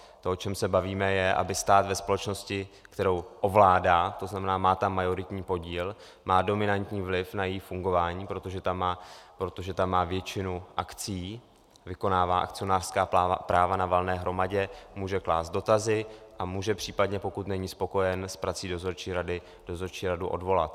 To, o čem se bavíme, je, aby stát ve společnosti, kterou ovládá, to znamená, má tam majoritní podíl, má dominantní vliv na její fungování, protože tam má většinu akcií, vykonává akcionářská práva na valné hromadě, může klást dotazy a může případně, pokud není spokojen s prací dozorčí rady, dozorčí radu odvolat.